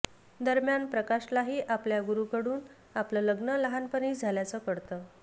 दरम्यान प्रकाशलाही आपल्या गुरुकडून आपलं लग्न लहानपणीच झाल्याचं कळतं